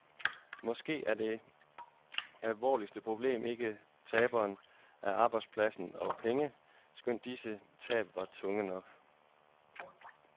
Måske er det alvorligste problem ikke tabene af arbejdspladser og penge, skønt disse tab var tunge nok.